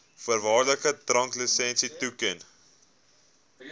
voorwaardelike dranklisensie toeken